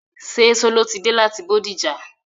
Ṣé Sọló ti dé láti Bódìjà?